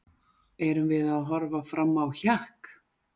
Erum við að horfa fram á hjakk?